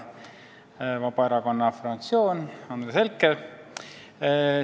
Hea Vabaerakonna fraktsioon ja Andres Herkel!